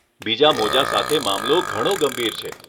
બીજા મોજાં સાથે મામલો ઘણો ગંભીર છે.